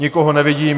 Nikoho nevidím.